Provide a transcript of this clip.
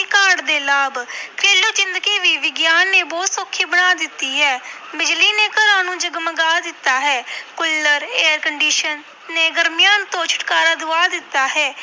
ਕਾਢ ਦੇ ਲਾਭ ਘਰੇਲੂ ਜ਼ਿੰਦਗੀ ਵੀ ਵਿਗਿਆਨ ਨੇ ਬਹੁਤ ਸੌਖੀ ਬਣਾ ਦਿੱਤੀ ਹੈ ਬਿਜ਼ਲੀ ਨੇ ਘਰਾਂ ਨੂੰ ਜਗਮਗਾ ਦਿੱਤਾ ਹੈ ਕੁੱਲਰ air condition ਨੇ ਗਰਮੀਆਂ ਤੋਂ ਛੁਟਕਾਰਾ ਦਵਾ ਦਿੱਤਾ ਹੈ।